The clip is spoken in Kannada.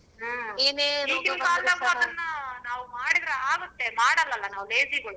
ಹ್ಮ್ ಈಗಿನ ಕಾಲ್ದಗು ಅದನ್ನ ನಾವ್ ಮಾಡಿದ್ರ ಆಗತ್ತೆ ಮಾಡಲ್ಲ ಅಲ್ಲ ನಾವು lazy ಗಳು.